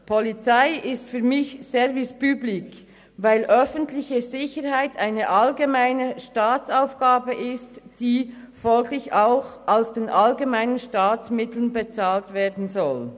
Polizei ist für mich Service public, weil die öffentliche Sicherheit eine allgemeine Staatsaufgabe ist, die folglich auch aus den allgemeinen Staatsmitteln bezahlt werden soll.